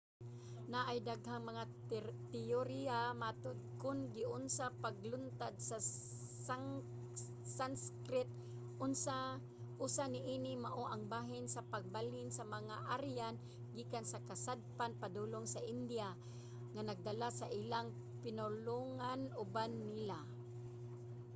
naay daghang mga teyoriya matud kung giunsa paglungtad sa sanskrit. usa niini mao ang bahin sa pagbalhin sa mga aryan gikan sa kasadpan padulong sa india nga nagdala sa ilang pinulongan uban nila